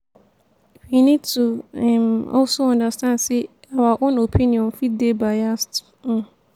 we need to um also understand sey our own opinion fit dey biased um